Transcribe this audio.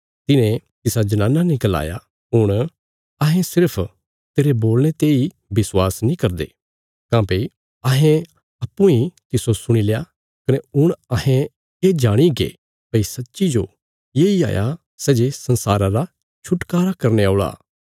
तिन्हे तिसा जनाना ने गलाया हुण अहें सिर्फ तेरे बोलणे तेई विश्वास नीं करदे काँह्भई अहें अप्पूँ इ तिस्सो सुणील्या कने हुण अहें ये जाणीगे भई सच्ची जो येई हाया सै जे संसारा रा छुटकारा करने औल़ा